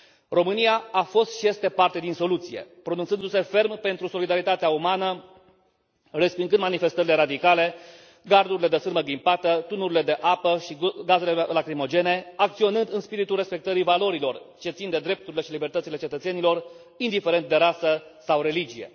România a fost și este parte din soluție, pronunțându se ferm pentru solidaritatea umană, respingând manifestările radicale, gardurile de sârmă ghimpată, tunurile de apă și gazele lacrimogene, acționând în spiritul respectării valorilor ce țin de drepturile și libertățile cetățenilor, indiferent de rasă sau religie.